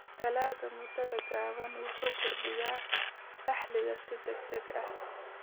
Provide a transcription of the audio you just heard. Dalagga muddada gaaban wuxuu kordhiyaa dakhliga si degdeg ah.